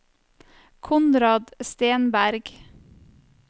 Konrad Stenberg